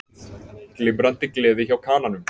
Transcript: Glimrandi gleði hjá Kananum